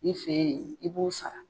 Ne fe yen, i b'u sara.